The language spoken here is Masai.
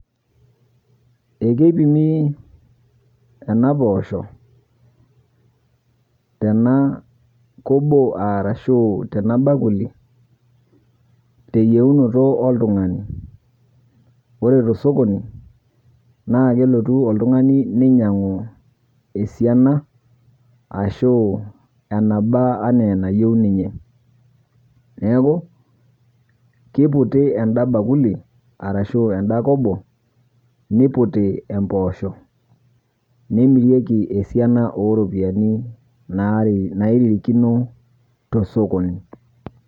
Ekeipimi enapoosho tena kobo arashu tena bakuli teyieunoto oltung'ani. Ore tosokoni naakelotu oltung'ani neinyang'u esiana ashuu enaba anaaenayou ninye. Neaku, keiputi enda  bakuli arashu enda kobo niputi empoosho neimirieki esiana oropiani nairirikino tosokoni.